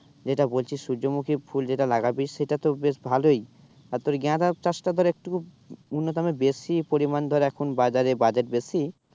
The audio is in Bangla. যেটা বলছিস সূর্যমুখী ফুল যেটা লাগাবি সেটা তো বেশ ভালোই আর তোর গাঁদা চাষটা ধর একটু উন্নতমানের বেশি পরিমান ধর এখন বাজারে বাজার বেশি